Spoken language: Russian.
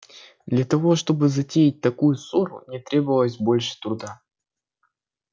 для того чтобы затеять такую ссору не требовалось больше труда